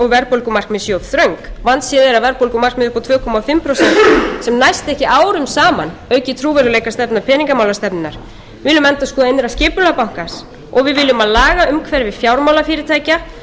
og verðbólgumarkmið séu of þröng vandséð er að verðbólgumarkmið upp á tvö og hálft prósent sem næst ekki árum saman auki trúverðugleika peningamálastefnunnar við viljum endurskoða innra skipulag banka og við viljum að lagaumhverfi fjármálafyrirtækja verði endurskoðað með